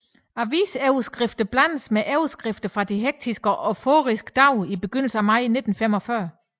Avisoverskrifter blandes med optagelser fra de hektiske og euforiske dage i begynelsen af maj 1945